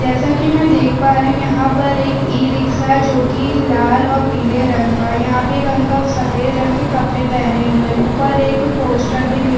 जैसा की मै देख पा रही हूँ यहाँ पर ई रिक्शा जो की लाल और पिले रंग का है यहाँ पे एक अंकल सफ़ेद रंग के कपडे पहने हुए है ऊपर एक पोस्टर भी --